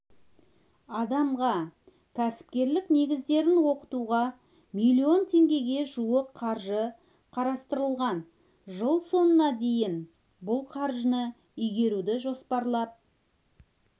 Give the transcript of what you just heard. адамға кәсіпкерлік негіздерін оқытуға млн теңгеге жуық қаржы қарастырылған жыл соңына дейін бұл қаржыны игеруді жоспарлап